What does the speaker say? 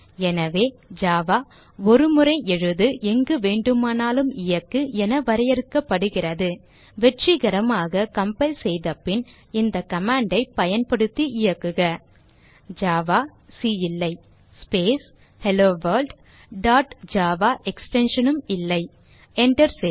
எனவே ஜாவா ஒருமுறை எழுது எங்கு வேண்டுமானாலும் இயக்கு என வரையறுக்கப்படுகிறது வெற்றிகரமாக கம்பைல் செய்த பின் இந்த command ஐ பயன்படுத்தி இயக்குக ஜாவா சி இல்லை space hello world dot Java extension இல்லை Enter செய்க